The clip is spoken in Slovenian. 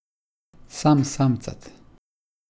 Sam samcat.